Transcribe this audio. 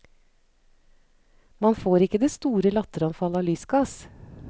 Man får ikke det store latteranfallet av lystgass.